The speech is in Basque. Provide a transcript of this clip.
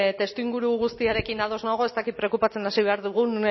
testuinguru guztiarekin ados nago ez dakit preokupatzen hasi behar dugun